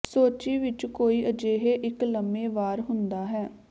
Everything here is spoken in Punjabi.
ਸੋਚੀ ਵਿੱਚ ਕੋਈ ਅਜਿਹੇ ਇੱਕ ਲੰਮੇ ਵਾਰ ਹੁੰਦਾ ਹੈ